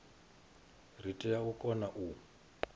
ri tea u kona u